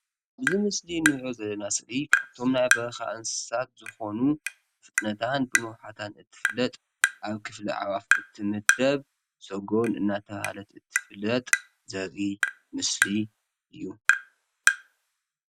እዚ ምስሊ ንሪኦ ዘለና ስእሊ ካብቶም ናይ በረካ እንስሳት ዝኮኑ ብፍጥነታን ብንውሓታን እትፍለጥ ኣብ ክፍሊ ኣዕዋፍ እትምደብ ስገን እናተበሃለት እትፍለጥ ዘርኢ ምስሊ እዩ ።